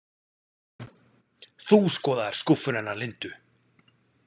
Þú skoðaðir skúffuna hennar Lindu?